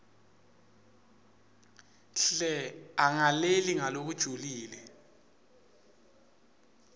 hle angalaleli ngalokujulile